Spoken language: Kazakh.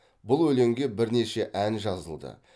бұл өлеңге бірнеше ән жазылды